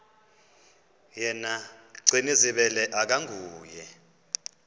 yena gcinizibele akanguye